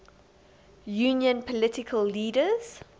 union political leaders